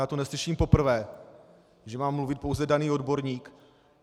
Já to neslyším poprvé, že má mluvit pouze daný odborník.